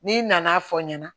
N'i nana fɔ ɲɛna